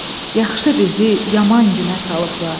Yaxşı bizi yaman günə salıblar.